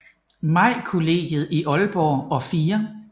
Maj Kollegiet i Aalborg og 4